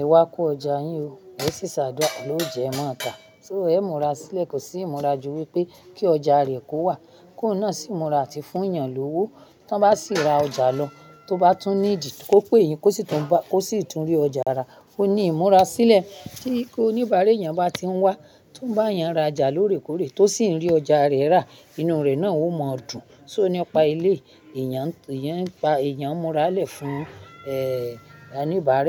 ẹ wá kó ọjà yín ó, ó sì ṣàdúrà ọlọ́run óúnjẹ mọ́ ata. So ẹ̀ ń múra sílẹ̀, kò sí ìmúra ju wípé kí ọjà rẹ̀ kó wà, kó náà sì ń múra àti fún èèyàn lówó, tó bá sì ra ọjà lọ, tó bá tún nídìí kó pé yín. Kò sì tún rí ọjà rà, ó ní ìmúra sílẹ̀ tí oníbàárà èèyàn bá ti ń wá, tó bá yàn ra ọjà lórèkòrè, tó sì ń rí ọjà rẹ̀ rà, inú rẹ̀ náà ó mọ dùn. So nípa ilé, èèyàn ń pa èèyàn múra lẹ̀ fún, eh, oníbàárà.